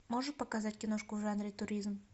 можешь показать киношку в жанре туризм